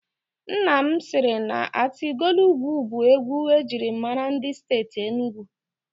Nna m siri na Atilọgwụ bụ egwu ejiri maara ndị Steeti Enugu.